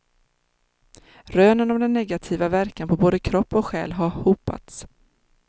Rönen om den negativa verkan på både kropp och själ har hopats.